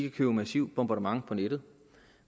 et massivt bombardement på nettet